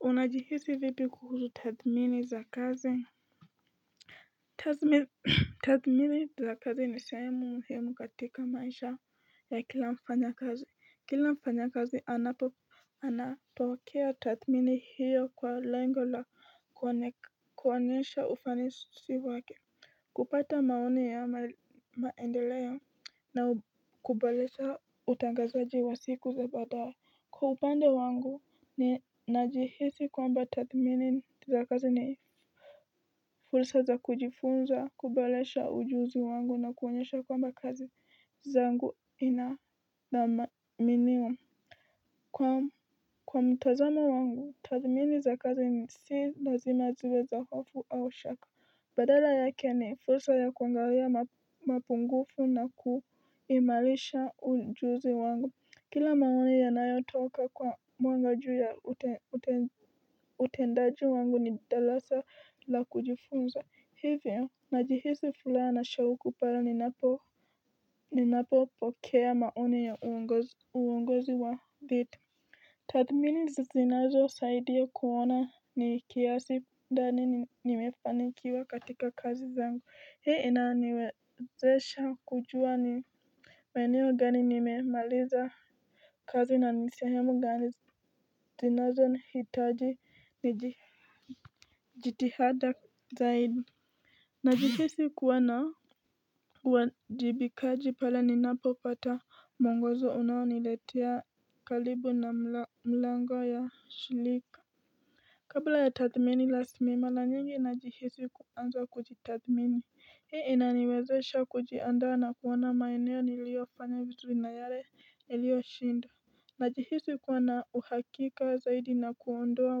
Unajihisi vipi kuhusu tathmini za kazi Tathmini za kazi ni sehemu muhimu katika maisha ya kila mfanyakazi kila mfanyakazi anapokea tathmini hiyo kwa lengo la kuonyesha ufanisi wake kupata maoni ama maendeleo na kubolesha utangazaji wa siku za baadaye Kwa upande wangu ninajihisi kwamba tathmini za kazi ni fulsa za kujifunza, kuboresha ujuzi wangu na kuonyesha kwamba kazi zangu inadhaminiwa. Kwa mtazamo wangu, tathmini za kazi ni si lazima ziwe za hofu au shaka. Badala yake ni fursa ya kuangalia mapungufu na kuimarisha ujuzi wangu. Kila maoni yanayotoka kwa mwanga ju ya utendaji wangu ni dalasa la kujifunza hivyo najihisi fulaa na shauku pale ninapopokea maoni ya uongozi wa dhiti Tathmini zinazosaidia kuona ni kiasi ndani nimefanikiwa katika kazi zangu hii inaniwezesha kujua ni maeneo gani nimemaliza kazi na ni sehemu gani zinazohitaji ni jitihada zaidi Najihisi kuwa na uwajibikaji pale ninapopata mwongozo unaoniletea karibu na mlango ya shilika Kabla ya tathmini rasmi mara nyingi najihisi kuanza kujitathmini Hii inaniwezesha kujiandaa na kuona maeneo niliofanya vizuri na yare nilioshindwa. Najihisi kuona uhakika zaidi na kuondoa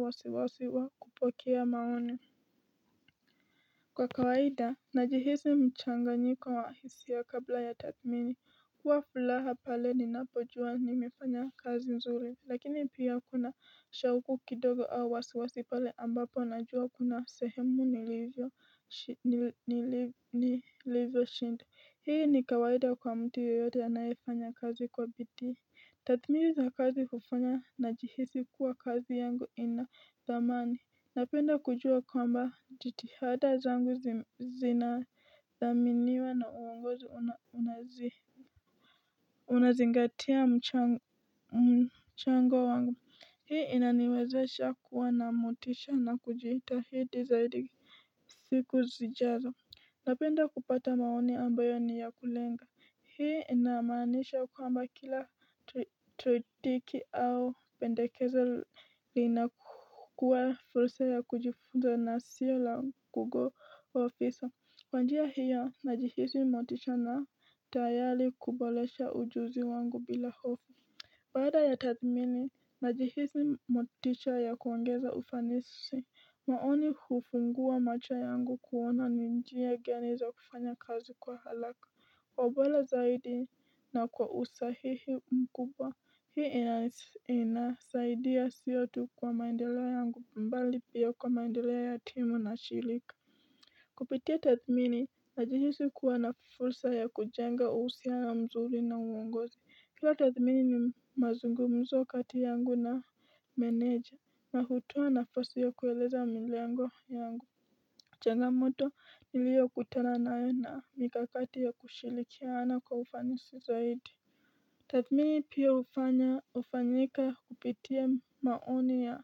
wasiwasi wa kupokea maoni Kwa kawaida najihisi mchanganyiko wa hisia kabla ya tathmini kuwa fulaha pale ninapojua nimefanya kazi nzuri lakini pia kuna shauku kidogo au wasiwasi pale ambapo najua kuna sehemu nilivyoshinda hii ni kawaida kwa mtu yoyote anayefanya kazi kwa bidii tathmini za kazi hufanya najihisi kuwa kazi yangu ina thamani napenda kujua kwamba jitihada zangu zinathaminiwa na uongozo unazingatia mchango wangu hii inaniwezesha kuwa na motisha na kujihitahidi zaidi siku zijazo napenda kupata maoni ambayo ni ya kulenga hii inamaanisha kwamba kila tretiki au pendekeza linakuwa fursa ya kujifunza na sio la google officer kwa njia hiyo najihizi motisha na tayali kubolesha ujuzi wangu bila hofu Baada ya tathmini najihisi motisha ya kuongeza ufanisi maoni hufungua macho yangu kuona ni njia gani za kufanya kazi kwa halaka kwa ubola zaidi na kwa usahihi mkubwa hii inasaidia sio tu kwa maendeleo yangu mbali pia kwa maendeleo ya timu na shirika Kupitia tathmini najihisi kuwa na fursa ya kujenga uhusiano mzuri na uongozi. Kila tathmini ni mazungumzo kati yangu na meneja. Na hutoa nafasi ya kueleza milengo yangu. Changamoto niliokutana nayo na mikakati ya kushilikiana kwa ufanisi zaidi. Tathmini pia hufanya hufanyika kupitia maoni ya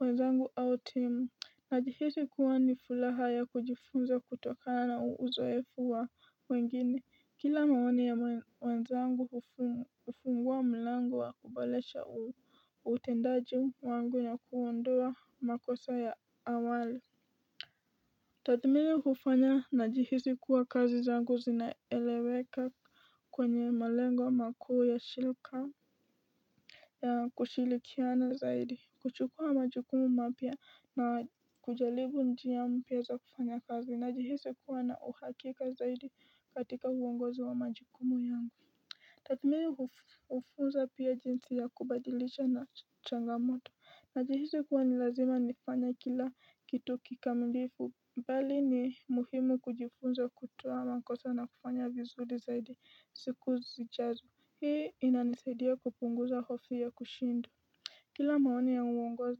wenzangu au timu. Najihisi kuwa ni fulaha ya kujifunza kutokana na uzoefu wa wengine, kila maoni ya wenzangu hufungua mlango wa kubolesha utendaji wangu na kuondoa makosa ya awali Tathmini hufanya najihisi kuwa kazi zangu zinaeleweka kwenye malengo makao ya shirika ya kushilikiana zaidi kuchukua majukumu mapya na kujalibu njia mpya za kufanya kazi najihisi kuwa na uhakika zaidi katika uongozi wa majukumu yangu tathmini hufunza pia jinsi ya kubadilisha na changamoto najihisi kuwa ni lazima nifanye kila kitu kikamilifu mbali ni muhimu kujifunza kutoa makosa na kufanya vizuri zaidi siku zijazo hii inanisaidia kupunguza hofu ya kushindwa kila maoni ya uongozi.